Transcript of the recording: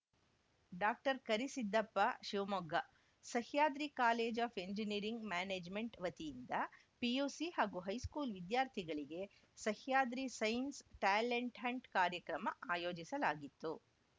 doctor Karisiddappa Shivamogga Sahyadri college of engineering management ವತಿಯಿಂದ PUC ಹಾಗೂ high school ವಿದ್ಯಾರ್ಥಿಗಳಿಗೆ ಸಹ್ಯಾದ್ರಿ ಸೈನ್ಸ್‌ ಟ್ಯಾಲೆಂಟ್‌ ಹಂಟ್‌ ಕಾರ್ಯಕ್ರಮ ಆಯೋಜಿಸಲಾಗಿತ್ತು